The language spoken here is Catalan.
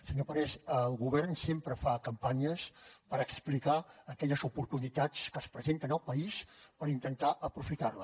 senyor parés el govern sempre fa campanyes per explicar aquelles oportunitats que es presenten al país per intentar aprofitar les